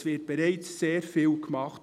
– Es wird bereits sehr viel gemacht.